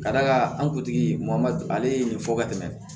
Ka d'a kan an kuntigi ale ye nin fɔ ka tɛmɛ